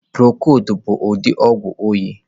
Prokod bu udi ogwu oyị.